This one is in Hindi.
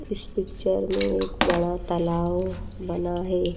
इस पिक्चर में एक बड़ा तालाव बना है।